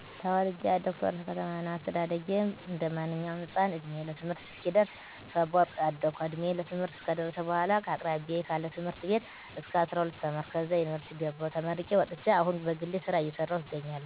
ተወልጀ ያደኩት ወረታ ከተማ ነው። አስተዳደጌም እንደማንኛውም ህፃን እድሜየ ለትምህርት እስኪደርስ ሰቦርቅ አደኩ እንድሜየ ለትምህርት ከደረሰበኃላ ከአቅራቢያየ ካለ ትምህርት ቤት እስከ 12 ተማርኩ ከዛ ዩንቨርስቲ ገባሁ ተመርቄ ወጥቸ አሁን በግሌ ስራ እየሰራሁ እገኛለሁ።